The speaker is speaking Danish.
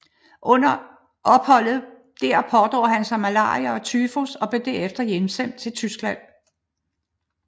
Under opholdet der pådrog han sig malaria og tyfus og blev herefter hjemsendt til Tyskland